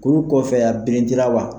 Kuru kɔfɛ a birinti la wa ?